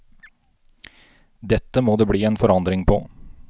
Dette må det bli en forandring på.